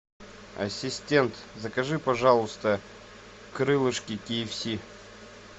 ассистент закажи пожалуйста крылышки ки эф си